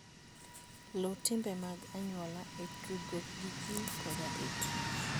Luw timbe mag anyuola e tudruok gi ji koda e tich.